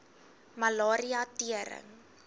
malaria tering